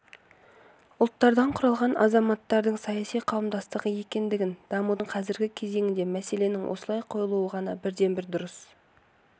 ұлттардан құралған азаматтардың саяси қауымдастығы екендігін дамудың қазіргі кезеңінде мәселенің осылай қойылуы ғана бірден-бір дұрыс